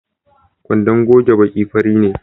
Kwandon goge baki fari ne